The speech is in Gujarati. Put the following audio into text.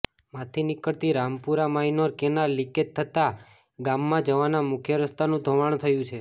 માંથી નીકળતી રામપુરા માઈનોર કેનાલ લિકેજ થતાં ગામમાં જવાનાં મુખ્ય રસ્તાનું ધોવાણ થયું છે